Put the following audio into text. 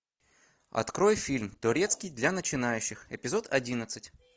открой фильм турецкий для начинающих эпизод одиннадцать